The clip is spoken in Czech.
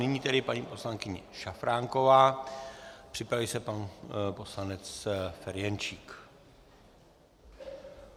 Nyní tedy paní poslankyně Šafránková, připraví se pan poslanec Ferjenčík.